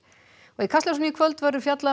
í Kastljósi í kvöld verður fjallað um